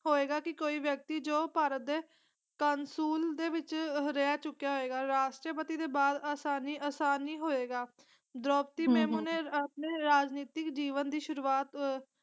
ਹੋਏਗਾ ਕਿ ਕੋਈ ਵਿਅਕਤੀ ਜੋ ਭਾਰਤ ਦੇ ਦੇ ਵਿਚ ਰਹਿ ਚੁਕਿਆ ਹੋਏਗਾ ਰਾਸ਼ਟਰਪਤੀ ਦੇ ਬਾਅਦ ਆਸਾਨੀ ਅਸਾਨ ਨਹੀਂ ਹੋਏਗਾ ਦ੍ਰੋਪਦੀ ਮੇਮੁ ਹਮ ਹਮ ਨੇ ਆਪਣੇ ਰਾਜਨੀਤਿਕ ਜੀਵਨ ਦੀ ਸ਼ੁਰੂਵਾਤ ਅਹ